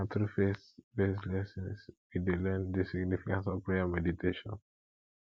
na through faithbased lessons we dey learn the significance of prayer and meditation